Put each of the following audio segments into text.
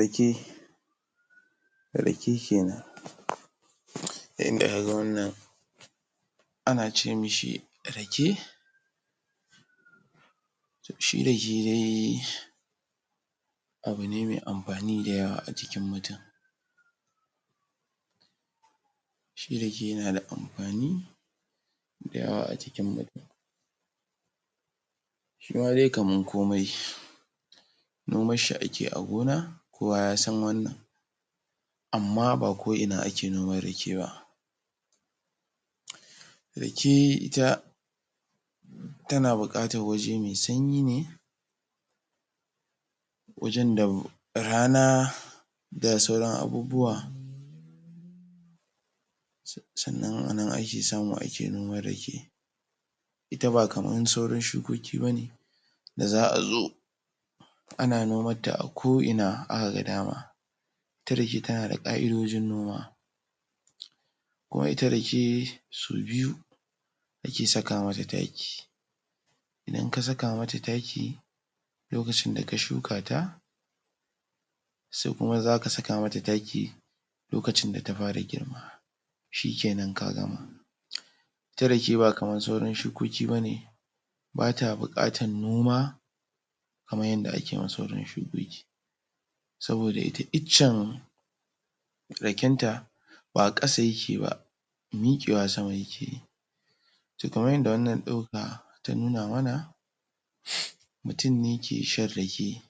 Rake Rake kenan yadda kaga wannan ana ce mishi Rake to shi Rake dai abu ne mai amfani da yawa a jikin mutum shi Rake yana da amfani da yawa a cikin mutum shima dai kamar komai Noman shi ake a gona kowa yasan wannan amma ba ko'ina ake noman Rake ba Rake ita tana buƙatar waje mai sanyi ne wajan da rana da sauran abubuwa sannan ana ake samu ake noman Rake ita ba kamar sauran shukoki bane da za'a zo ana noman ta a ko'ina aka ga daman ita Rake tana da ƙa'idojin noma kuma ita Rake sau biyu ake saka mata taki idan ka saka mata taki lokacin da ka shuka ta sai kuma zaka saka mata taki lokacin da ta fara girma shikenan ka gama ita Rake ba kamar sauran shukoki bane bata buƙatar noma kamar yadda ake wa sauran shukoki saboda ita icen Raken ta ba ƙasa yake ba mikewa sama yake yi to kamar yadda wannan ɗauka ta nuna mana mutum ne ke shan Rake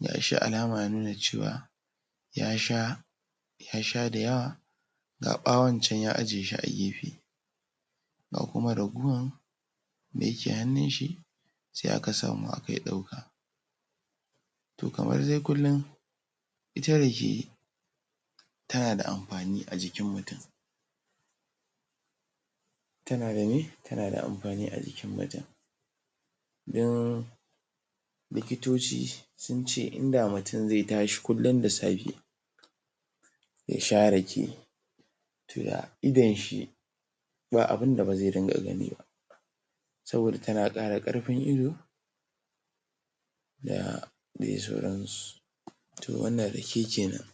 gashi alama ya nuna cewa ya sha ya sha da yawa ga ɓawon can ya ajiye shi a gefe ga kuma ragowar da yake hannun shi sai aka samu akayi ɗauka to kamar dai kullin ita Rake tana da amfani a jikin mutum tana da me tana da amfani a jikin mutum dan likitoci sun ce inda mutum zai tashi kullin da safe yasha Rake to da idon shi ba abunda ba zai dinga gani ba saboda tana ƙara ƙarfin ido da dai sauransu to wannan Rake kenan